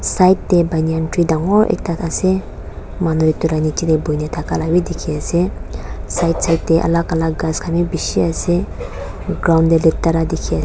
side tae banyan tree dangor ekta ase manu edu la nichae tae boina thaka la bi dikhiase side side tae alak alak ghas khan bi bishi ase ground tae latira dikhi.